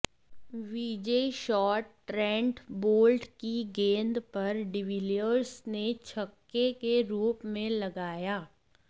विजयी shot Trent Boult की गेंद पर डिविलियर्स ने छक्के के रूप में लगाया